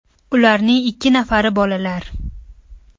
Ularning ikki nafari bolalar.